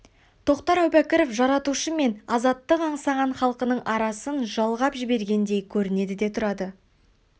тоқтар әубәкіров жаратушы мен азаттық аңсаған халқының арасын жалғап жібергендей көрінеді де тұрады